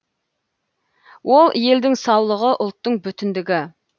ол елдің саулығы ұлттың бүтіндігі